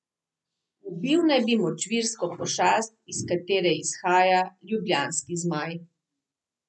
Ubil naj bi močvirsko pošast, iz katere izhaja ljubljanski zmaj.